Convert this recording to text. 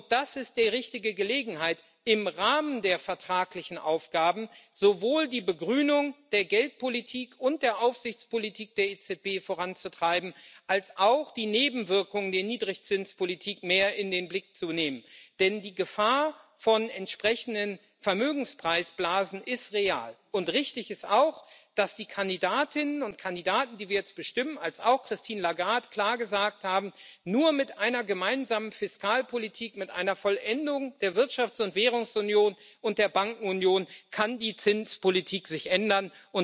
Und das ist die richtige Gelegenheit, im Rahmen der vertraglichen Aufgaben sowohl die Begrünung der Geldpolitik und der Aufsichtspolitik der EZB voranzutreiben als auch die Nebenwirkungen der Niedrigzinspolitik mehr in den Blick zu nehmen. Denn die Gefahr von entsprechenden Vermögenspreisblasen ist real, und richtig ist auch, dass sowohl die Kandidatinnen und Kandidaten, die wir jetzt bestimmen, als auch Christine Lagarde klar gesagt haben Nur mit einer gemeinsamen Fiskalpolitik, mit einer Vollendung der Wirtschafts und Währungsunion und der Bankenunion kann die Zinspolitik sich ändern.